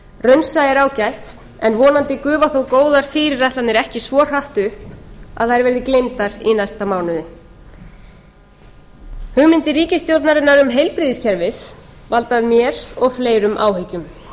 raunsæi er ágætt en vonandi gufa þó góðar fyrirætlanir ekki svo hratt upp að þær verði gleymdar í næsta mánuði hugmyndir ríkisstjórnarinnar um heilbrigðiskerfið valda mér og fleirum áhyggjum þar